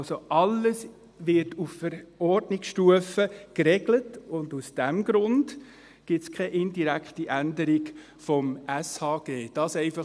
Also: Alles wird auf Verordnungsstufe geregelt, und aus diesem Grund gibt es keine indirekte Änderung des Gesetzes über die öffentliche Sozialhilfe (Sozialhilfegesetz, SHG).